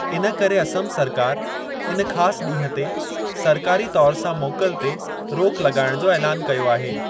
इन करे असमु सरकार इन ख़ासि ॾींहं ते सरकारी तौर सां मोकल ते रोक लॻाइणु जो ऐलानु कयो आहे।